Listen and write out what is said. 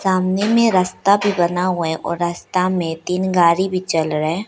सामने में रस्ता भी बना हुआ है और रास्ता में तीन गाड़ी भी चल रहा है।